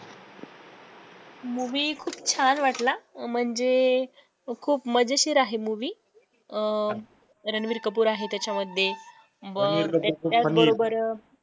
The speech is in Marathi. movie खूप छान वाटला म्हणजे खूप मजेशीर आहे movie अं रणवीर कपूर आहे त्याच्यामध्ये त्याच बरोबर